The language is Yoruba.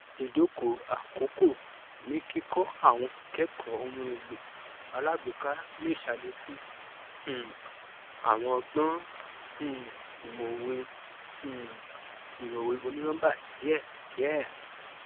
idokò àkókò ní kíkọ àwọn ikẹkọ ohun èlò alágbèéká ṣe alékún um àwọn ọgbọn um ìmọwé um ìmọwé onínọmbà díẹdíẹ